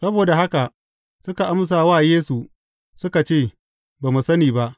Saboda haka, suka amsa wa Yesu suka ce, Ba mu sani ba.